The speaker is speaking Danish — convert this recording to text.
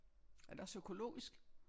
Er det også økologisk?